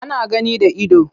Ana gani da ido.